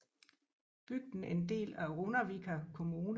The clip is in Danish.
Bygden er en del af Runavíkar Kommune